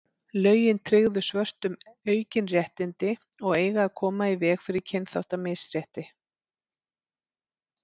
lögin tryggðu svörtum aukin réttindi og eiga að koma í veg fyrir kynþáttamisrétti